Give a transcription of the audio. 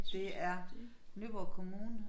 Det er Nyborg kommune